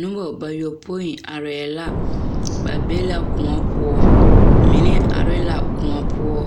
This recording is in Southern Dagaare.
Noba bayɔpoe arɛɛ la ba be la koɔ poɔ mine are la koɔ poɔ